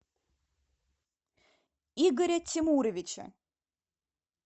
игоря тимуровича